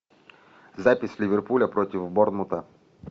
запись ливерпуля против борнмута